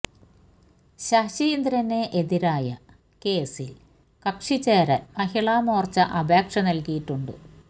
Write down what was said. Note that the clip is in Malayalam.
ശശീന്ദ്രന് എതിരായ കേസിൽ കക്ഷി ചേരാൻ മഹിള മോർച്ച അപേക്ഷ നൽകിയിട്ടുണ്ട്